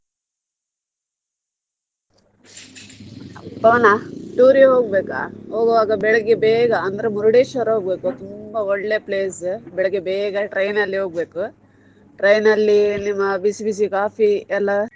ಪವನ tour ಗ್ ಹೋಗ್ಬೇಕಾ ಹೋಗುವಾಗ ಬೆಳಿಗ್ಗೆ ಬೇಗ ಅಂದ್ರೆ Murdeshwar ಹೋಗ್ಬೇಕು ತುಂಬಾ ಒಳ್ಳೆ place ಬೆಳಿಗ್ಗೆ ಬೇಗ train ಅಲ್ಲೆ ಹೋಗ್ಬೇಕು train ಅಲ್ಲಿ ನಿಮ್ಮ ಬಿಸಿ ಬಿಸಿ coffee ಎಲ್ಲ.